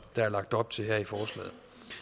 der er lagt op til her i forslaget